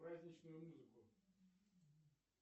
праздничную музыку